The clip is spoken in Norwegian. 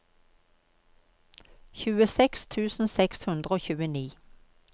tjueseks tusen seks hundre og tjueni